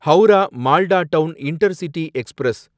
Howrah Malda town intercity express